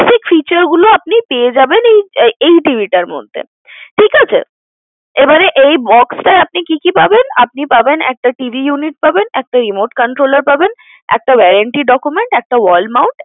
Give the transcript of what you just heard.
Basic feature গুলো আপনি পেয়ে যাবেন এই TV টার মধ্যে, ঠিকাছে, এবার এই box টায় আপনি কি কি পাবেন আপনি পাবেন একটা TV Unit পাবেন একটা Remote controller পাবেন একটা warranty document একটা wall mount